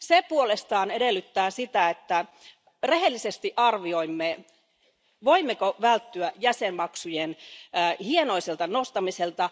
Se puolestaan edellyttää sitä, että rehellisesti arvioimme, voimmeko välttyä jäsenmaksujen hienoiselta nostamiselta.